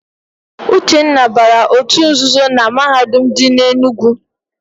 Uchenna bara òtù nzuzo na Mahadum dị n'Enugwu.